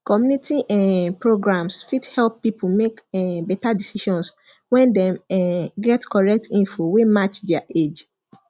community um programs fit help people make um better decisions when dem um get correct info wey match their age